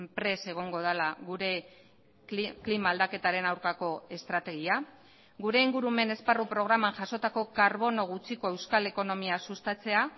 prest egongo dela gure klima aldaketaren aurkako estrategia gure ingurumen esparru programan jasotako karbono gutxiko euskal ekonomia sustatzea